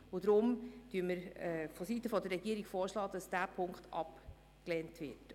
Deshalb schlagen wir seitens der Regierung vor, Ziffer 2 abzulehnen.